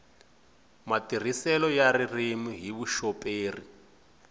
matirhiselo ya ririmi hi vuxoperi